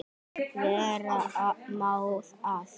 Vera má að